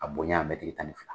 A bonya tan ni fila.